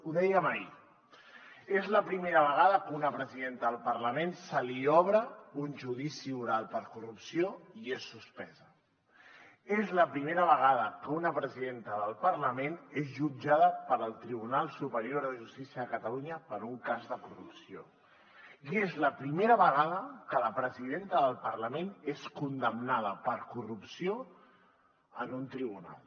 ho dèiem ahir és la primera vegada que a una presidenta del parlament se li obre un judici oral per corrupció i és suspesa és la primera vegada que una presidenta del parlament és jutjada pel tribunal superior de justícia de catalunya per un cas de corrupció i és la primera vegada que la presidenta del parlament és condemnada per corrupció en un tribunal